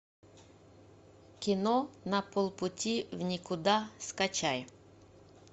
кино на полпути в никуда скачай